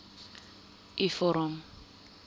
u vorm